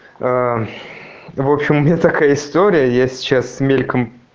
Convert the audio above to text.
аа в общем у меня такая история я сейчас мельком